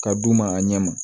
Ka d'u ma a ɲɛ ma